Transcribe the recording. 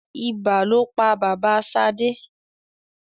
Ibà lo pa bàbá Ṣadé.